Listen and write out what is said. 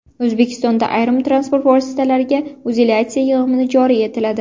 O‘zbekistonda ayrim transport vositalariga utilizatsiya yig‘imi joriy etiladi.